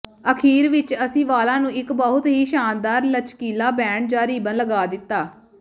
ਅਖ਼ੀਰ ਵਿਚ ਅਸੀਂ ਵਾਲਾਂ ਨੂੰ ਇਕ ਬਹੁਤ ਹੀ ਸ਼ਾਨਦਾਰ ਲਚਕੀਲਾ ਬੈਂਡ ਜਾਂ ਰਿਬਨ ਲਗਾ ਦਿੱਤਾ